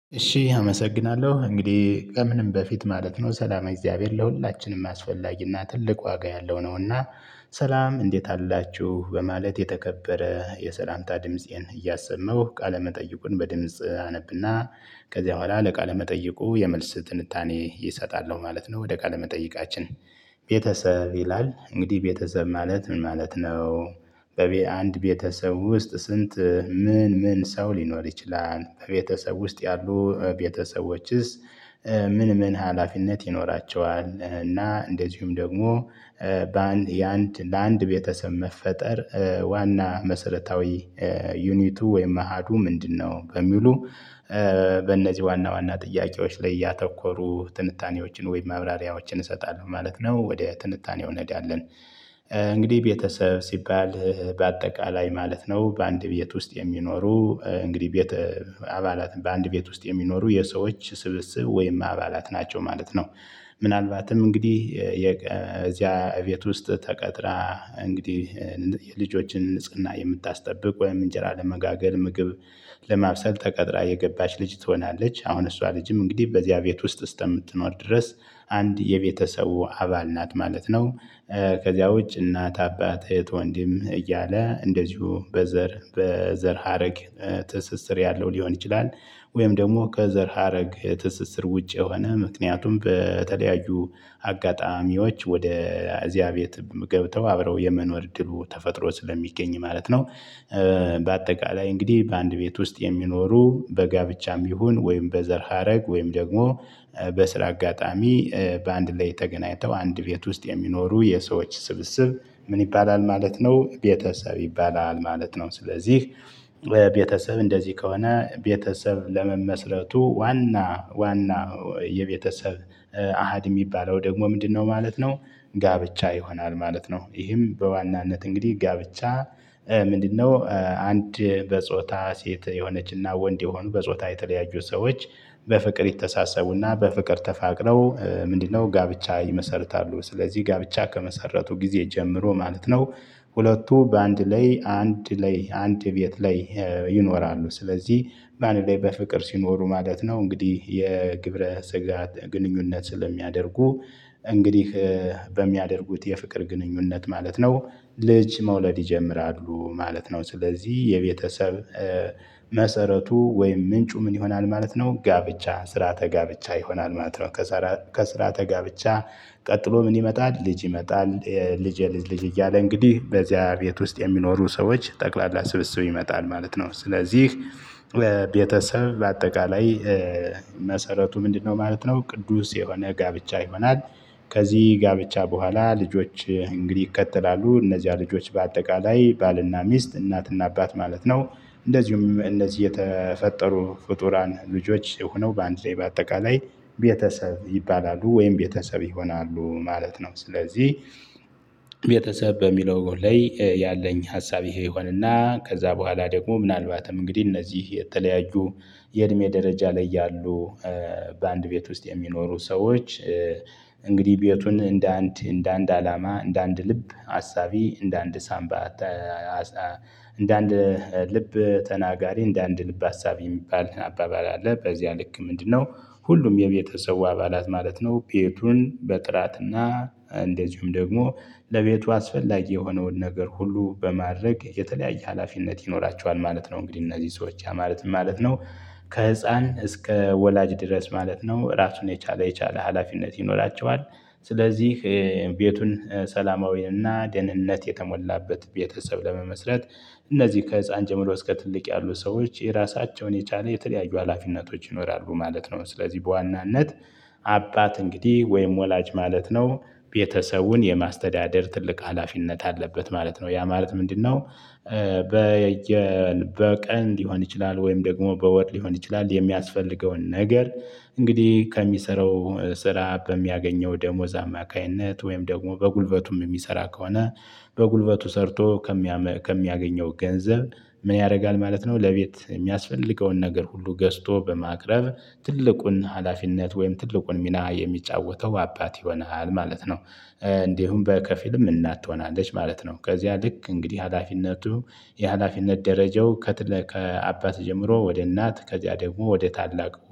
እሺ አመሰግናለሁ እንግዲህ ከምንም በፊት ማለት ነው ሰላም የእግዚአብሔር ለሁላችንም አስፈላጊና ትልቅ ዋጋ ያለው ነውና። ሰላም እንዴት አላችሁ በማለት የተከበረ የሰላምታ ድምፄን እያሰመሁ ቃለ መጠይቁን በድምጽ አነብና። ከዚያ በኋላ ለቃለ መጠይቁ የመልስ ትንታኔ ይሰጣል ማለት ነው ወደ ቃለ መጠይቃችን። ቤተሰብ ይላል እንግዲህ ቤተሰብ ማለት ምን ማለት ነው? በአንድ ቤተሰብ ውስጥ ስንት? ምን ምን ሰው ሊኖር ይችላል በቤተሰብ ውስጥ ያሉ ቤተሰቦችስ? ምን ምን ሀላፊነት ይኖራቸዋል እና እንደዚሁም ደግሞ። በአንድ የአንድ ለአንድ ቤተሰብ መፈጠር። ዋና መሰረታዊ ዩኒቱ ወይም አሃዱ ምንድነው? በሚሉ በእነዚህ ዋና ዋና ጥያቄዎች ላይ ያተኮሩ ትንታኔዎችን ወይም ማብራሪያዎችን እሰጣለሁ ማለት ነው። ወደ ትንታኔው እንሄዳለን። እንግዲህ ቤተሰብ ሲባል በአጠቃላይ ማለት ነው። በአንድ ቤት ውስጥ የሚኖሩ እንግዲህ ቤት አባላት በአንድ ቤት ውስጥ የሚኖሩ የሰዎች ስብስብ ወይም አባላት ናቸው ማለት ነው። ምናልባትም እንግዲህ የዚያ ቤት ውስጥ ተቀጥራ እንግዲህ የልጆችን ንጽህና የምታስጠብቅ ወይም እንጀራ ለመጋገር ምግብ ለማብሰል ተቀጥራ የገባች ልጅ ትሆናለች። አሁን እሷ ልጅም እንግዲህ በዚያ ቤት ውስጥ ስተምትኖር ድረስ አንድ የቤተሰቡ አባል ናት ማለት ነው። ከዚያ ውጭ እናት አባት እህት ወንድም እያለ እንደዚሁ በዘር በዘር ሀረግ ትስስር ያለው ሊሆን ይችላል። ወይም ደግሞ ከዘር ሀረግ ትስስር ውጪ የሆነ ምክንያቱም በተለያዩ አጋጣሚዎች ወደ እዚያ ቤት ገብተው አብረው የመኖር እድሉ ተፈጥሮ ስለሚገኝ ማለት ነው። በአጠቃላይ እንግዲህ በአንድ ቤት ውስጥ የሚኖሩ በጋብቻም ይሁን ወይም በዘር ሀረግ ወይም ደግሞ በስራ አጋጣሚ በአንድ ላይ ተገናኝተው አንድ ቤት ውስጥ የሚኖሩ የሰዎች ስብስብ። ምን ይባላል ማለት ነው? ቤተሰብ ይባላል ማለት ነው። ስለዚህ ቤተሰብ እንደዚህ ከሆነ ቤተሰብ ለመመስረቱ ዋና ዋና የቤተሰብ አሃድ የሚባለው ደግሞ ምንድነው ማለት ነው? ጋብቻ ይሆናል ማለት ነው። ይህም በዋናነት እንግዲህ ጋብቻ ምንድነው? አንድ በጾታ ሴት የሆነችና ወንድ የሆኑ በጾታ የተለያዩ ሰዎች በፍቅር ይተሳሰቡና በፍቅር ተፋቅረው ምንድነው ጋብቻ ይመሰርታሉ ስለዚህ ጋብቻ ከመሰረቱ ጊዜ ጀምሮ ማለት ነው። ሁለቱ በአንድ ላይ አንድ ላይ አንድ ቤት ላይ። ይኖራሉ ስለዚህ በአንድ ላይ በፍቅር ሲኖሩ ማለት ነው እንግዲህ የግብረ ስጋት ግንኙነት ስለሚያደርጉ። እንግዲህ በሚያደርጉት የፍቅር ግንኙነት ማለት ነው። ልጅ መውለድ ይጀምራሉ ማለት ነው። ስለዚህ የቤተሰብ መሰረቱ ወይም ምንጩ ምን ይሆናል ማለት ነው? ጋብቻ ስርዓተ ጋብቻ ይሆናል ማለት ነው። ከስርአት ከስርዓተ ጋብቻ። ቀጥሎ ምን ይመጣል ልጅ ይመጣል። ልጄ ልጅ እያለ እንግዲህ በዚያ ቤት ውስጥ የሚኖሩ ሰዎች ጠቅላላ ስብስብ ይመጣል ማለት ነው። ስለዚህ ቤተሰብ በአጠቃላይ መሰረቱ ምንድነው ማለት ነው? ቅዱስ የሆነ ጋብቻ ይሆናል። ከዚህ ጋብቻ በኋላ ልጆች እንግዲህ ይከተላሉ እነዚያ ልጆች በአጠቃላይ ባልና ሚስት እናትና አባት ማለት ነው። እንደዚሁም እነዚህ የተፈጠሩ ፍጡራን ልጆች ሆነው በአንድ ላይ በአጠቃላይ ቤተሰብ ይባላሉ ወይም ቤተሰብ ይሆናሉ ማለት ነው። ስለዚህ ቤተሰብ በሚለው ላይ ያለኝ ሀሳብ ይሄ ይሆንና ከዛ በኋላ ደግሞ ምናልባትም እንግዲህ እነዚህ የተለያዩ የእድሜ ደረጃ ላይ ያሉ በአንድ ቤት ውስጥ የሚኖሩ ሰዎች። እንግዲህ ቤቱን እንደ አንድ እንደ አንድ አላማ እንደ አንድ ልብ አሳቢ እንደ አንድ ሳንባ። እንደ አንድ ልብ ተናጋሪ እንደ አንድ ልብ አሳቢ የሚባል አባባል አለ በዚያ ልክ ምንድነው? ሁሉም የቤተሰቡ አባላት ማለት ነው። ቤቱን በጥራትና እንደዚሁም ደግሞ ለቤቱ አስፈላጊ የሆነውን ነገር ሁሉ በማድረግ የተለያየ ሀላፊነት ይኖራቸዋል ማለት ነው። እንግዲህ እነዚህ ሰዎች ያ ማለት ምን ማለት ነው? ከህፃን እስከ ወላጅ ድረስ ማለት ነው ራሱን የቻለ የቻለ ሀላፊነት ይኖራቸዋል። ስለዚህ ቤቱን ሰላማዊና ደህንነት የተሞላበት ቤተሰብ ለመመስረት እነዚህ ከህፃን ጀምሮ እስከ ትልቅ ያሉ ሰዎች የራሳቸውን የቻለ የተለያዩ ሀላፊነቶች ይኖራሉ ማለት ነው። ስለዚህ በዋናነት አባት እንግዲህ ወይም ወላጅ ማለት ነው። ቤተሰቡን የማስተዳደር ትልቅ ሀላፊነት አለበት ማለት ነው ያ ማለት ምንድነው? በቀን ሊሆን ይችላል ወይም ደግሞ በወር ሊሆን ይችላል የሚያስፈልገውን ነገር እንግዲህ ከሚሰራው ስራ በሚያገኘው ደሞዝ አማካኝነት ወይም ደግሞ በጉልበቱም የሚሰራ ከሆነ። በጉልበቱ ሰርቶ ከሚያገኘው ገንዘብ ምን ያደርጋል ማለት ነው? ለቤት የሚያስፈልገውን ነገር ሁሉ ገዝቶ በማቅረብ ትልቁን ሀላፊነት ወይም ትልቁን ሚና የሚጫወተው አባት ይሆናል ማለት ነው። እንዲሁም በከፊልም እናት ትሆናለች ማለት ነው። ከዚያ ልክ እንግዲህ ሀላፊነቱ የሀላፊነት ደረጃው ከትለ ከአባት ጀምሮ ወደ እናት ከዚያ ደግሞ ወደ ታላቅ